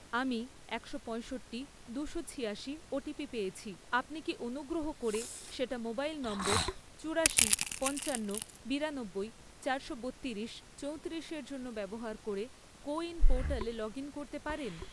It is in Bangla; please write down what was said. আমি একশো পয়ঁষট্টি, দুশো ছিয়াশি ওটিপি পেয়েছি, আপনি কি অনুগ্রহ করে সেটা মোবাইল নম্বর চুরাশি , পঞ্চান্ন, বিরানব্বই, চারশো বত্তিরিশ, চৌত্রিশ এর জন্য ব্যবহার করে কোউইন পোর্টালে লগ ইন করতে পারেন?